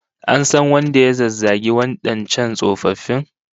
An san wanda ya zazzagi wadancan tsofaffin?